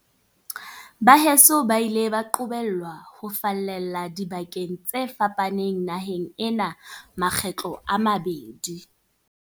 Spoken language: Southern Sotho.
Baheso ba ile ba qobellwa ho fallela dibakeng tse fa paneng naheng ena makgetlo a mabedi.